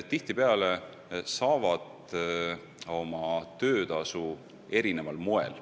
Inimesed saavad oma töötasu vägagi erineval moel.